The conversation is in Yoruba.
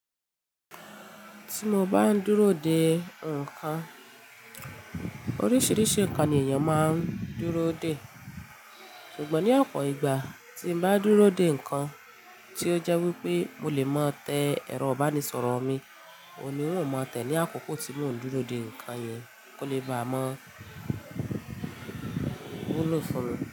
Ti mo bá ń dúró dè nǹkan, oríṣiríṣi ǹkan ni èèyàn máa ń dúró dè. Ṣùgbọ́n ní ọ̀pọ̀ ìgbà tí mo bá dúró dè nǹkan tí ó jẹ́ wípé mo lè máa tẹ ẹ̀rọ ìbánisọ̀rọ̀ mi, òní wọn ò máa tẹ́ ní àkókò tí mò ń dúró dè ǹkan yẹn kó lè bá mo wulo funmi.